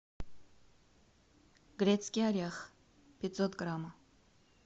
грецкий орех пятьсот грамм